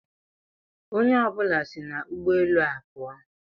Onye ọ bụla si n'ụgbọ elu a pụọ.